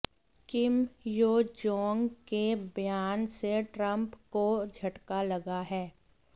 किम Yo Jong के बयान से ट्रंप को झटका लगा है